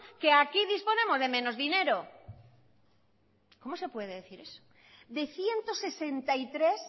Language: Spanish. que aquí disponemos de menos dinero cómo se puede decir eso de ciento sesenta y tres